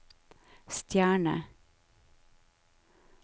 stjerne